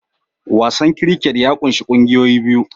Wasan cricket ya ƙunshi ƙungiyoyi biyu